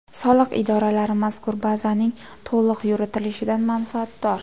Soliq idoralari mazkur bazaning to‘liq yuritilishidan manfaatdor.